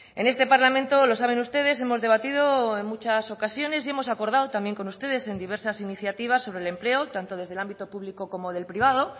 en este parlamento lo saben ustedes hemos debatido en muchas ocasiones y hemos acordado también con ustedes en diversas iniciativas sobre el empleo tanto desde el ámbito público como del privado